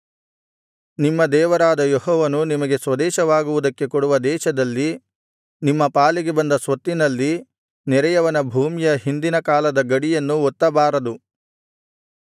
ನಿಮ್ಮ ದೇವರಾದ ಯೆಹೋವನು ನಿಮಗೆ ಸ್ವದೇಶವಾಗುವುದಕ್ಕೆ ಕೊಡುವ ದೇಶದಲ್ಲಿ ನಿಮ್ಮ ಪಾಲಿಗೆ ಬಂದ ಸ್ವತ್ತಿನಲ್ಲಿ ನೆರೆಯವನ ಭೂಮಿಯ ಹಿಂದಿನ ಕಾಲದ ಗಡಿಯನ್ನು ಒತ್ತಬಾರದು